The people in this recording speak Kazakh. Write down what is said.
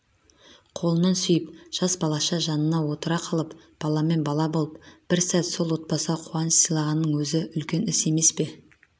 қолынан сүйіп жас балаша жанына отыра қалып баламен бала болып бір сәт сол отбасыға қуаныш сыйлағанның өзі үлкен іс емес пе